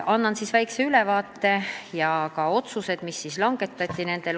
Annan väikse ülevaate ja räägin ka otsustest, mis langetati.